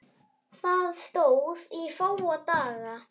Það stóð í fáa daga.